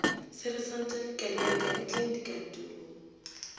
sersanta kadiaka le tleng dikantorong